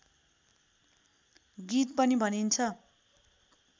गीत पनि भनिन्छ